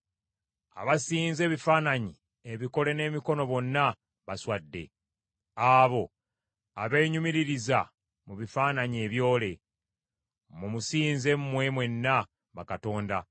Abasinza ebifaananyi ebikole n’emikono bonna baswadde, abo abeenyumiririza mu bifaananyi ebyole. Mumusinze mwe mwenna bakatonda.